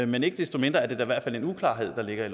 men ikke desto mindre er det da i hvert fald en uklarhed der ligger